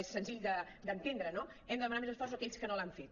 és senzill d’entendre no hem de demanar més esforços a aquells que no l’han fet